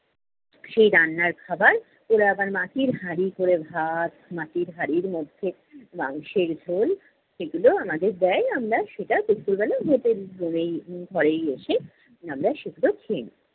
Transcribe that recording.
সেই রান্নার খাবার, ওরা আবার মাটির হাঁড়ি করে ভাত, মাটির হাঁড়ির মধ্যে আহ মাংসের ঝোল সেগুলো আমাদের দেয় আমরা সেটা দুপুরবেলা hotel room এই, উম ঘরেই এসে আমরা সেগুলো খেয়ে নেই।